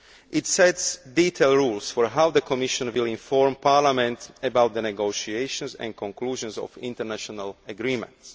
It sets detailed rules on how the Commission will inform Parliament about the negotiation and conclusion of international agreements.